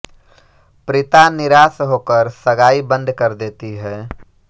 प्रीता निराश होकर सगाई बंद कर देती है